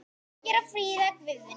Birgir og Fríða Guðný.